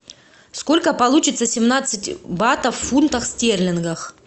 сколько получится семнадцать батов в фунтах стерлингах